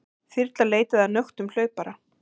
Þyrla leitaði að nöktum hlaupara